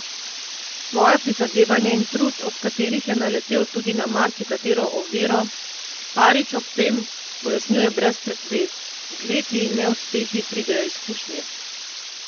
Svoja prizadevanja in trud, ob katerih je naletel tudi na marsikatero oviro, Farič ob tem pojasnjuje brez pretvez: 'Z leti in neuspehi pridejo izkušnje.